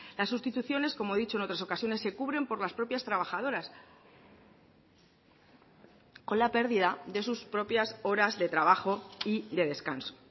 las sustituciones como he dicho en otras ocasiones se cubren por las propias trabajadoras con la pérdida de sus propias horas de trabajo y de descanso